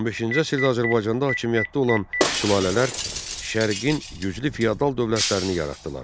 15-ci əsrdə Azərbaycanda hakimiyyətdə olan sülalələr Şərqin güclü feodal dövlətlərini yaratdılar.